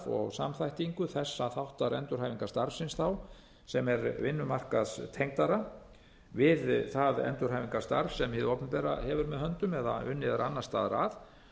og samþættingu þessa þáttar endurhæfingarstarfsins þá sem er vinnumarkaðstengdara við það endurhæfingarstarf sem hið opinbera hefur með höndum eða unnið er annars staðar að